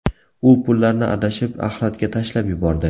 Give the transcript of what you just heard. U pullarni adashib axlatga tashlab yubordi.